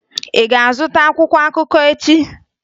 Ị ga-azụta akwụkwọ akụkọ echi!